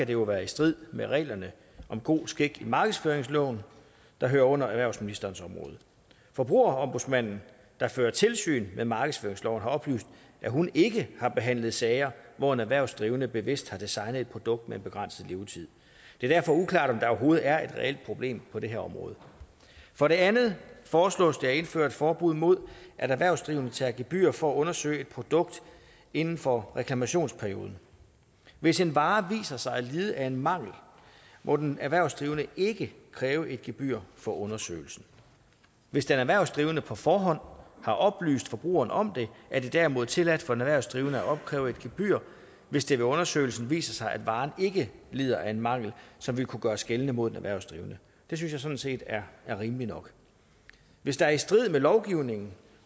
det være i strid med reglerne om god skik i markedsføringsloven der hører under erhvervsministerens område forbrugerombudsmanden der fører tilsyn med markedsføringsloven har oplyst at hun ikke har behandlet sager hvor en erhvervsdrivende bevidst har designet et produkt med en begrænset levetid det er derfor uklart om der overhovedet er et reelt problem på det her område for det andet foreslås det at indføre et forbud mod at erhvervsdrivende tager gebyrer for at undersøge et produkt inden for reklamationsperioden hvis en vare viser sig at lide af en mangel må den erhvervsdrivende ikke kræve et gebyr for undersøgelsen hvis den erhvervsdrivende på forhånd har oplyst forbrugeren om det er det derimod tilladt for en erhvervsdrivende at opkræve et gebyr hvis det ved undersøgelsen viser sig at varen ikke lider af en mangel som vil kunne gøres gældende mod den erhvervsdrivende det synes jeg sådan set er rimeligt nok hvis der i strid med lovgivningen